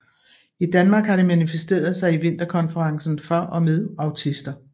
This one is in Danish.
I Danmark har det manifesteret sig i Vinterkonferencen for og med autister